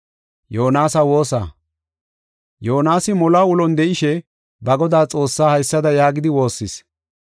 Yoonasi moluwa ulon de7ishe, ba Godaa Xoossaa haysada yaagidi woossis.